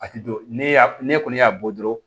A ti don ne kɔni y'a bɔ